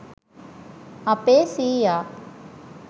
අපේ සීයා